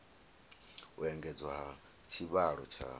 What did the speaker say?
u engedzwa ha tshivhalo tsha